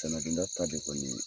Tanadonda ta de kɔni ye